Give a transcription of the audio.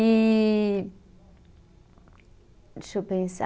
E, deixa eu pensar.